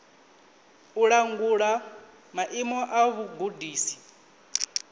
u langula maimo a vhugudisi